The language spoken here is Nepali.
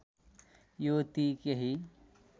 यो ती केही